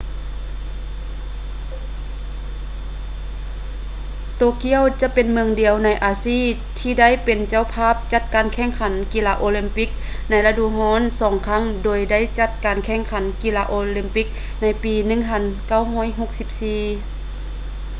ໂຕກຽວຈະເປັນເມືອງດຽວໃນອາຊີທີ່ໄດ້ເປັນເຈົ້າພາບຈັດການແຂ່ງຂັນກິລາໂອລິມປິກລະດູຮ້ອນສອງຄັ້ງໂດຍໄດ້ຈັດການແຂ່ງຂັນກິລາໂອລິມປິກໃນປີ 1964